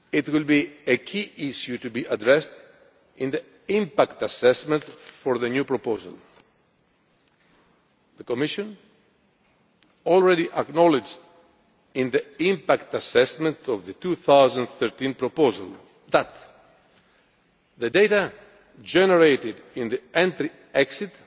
will be a key issue to be addressed in the impact assessment for the new proposal. The Commission has already acknowledged, in the impact assessment for the 2013 proposal, that the data generated at entry